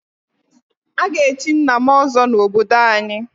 A ga-echi nna m ọzọ n'obodo anyị.